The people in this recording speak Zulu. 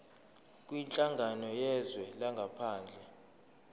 kwinhlangano yezwe langaphandle